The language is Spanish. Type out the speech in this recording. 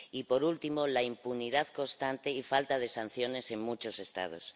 y, por último, la impunidad constante y falta de sanciones en muchos Estados.